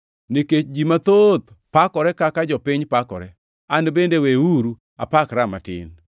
Nikech ji mathoth pakore kaka jopiny pakore, an bende weuru apakra matin.